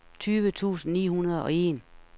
tyve tusind ni hundrede og en